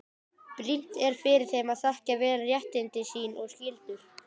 Brýnt er fyrir þeim að þekkja vel réttindi sín og skyldur.